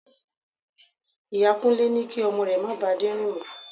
Ìyá Kúnlé ní kí ọmọ rẹ̀ má ba Adé rìn mó.